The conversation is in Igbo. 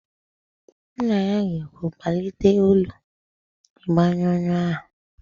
Nna ya ga-ekwu, "gbalite olu ígwèonyonyo ahụ"!.